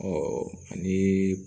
ani